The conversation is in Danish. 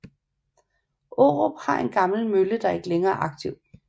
Aarup har en gammel mølle der ikke længere er aktiv